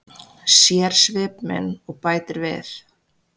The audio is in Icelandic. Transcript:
Sér svip minn og bætir við.